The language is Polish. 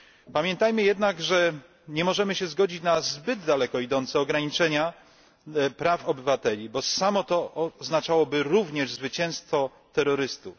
Pamiętajmy jednak, że nie możemy się zgodzić na zbyt daleko idące ograniczenia praw obywateli, bo samo to oznaczałoby również zwycięstwo terrorystów.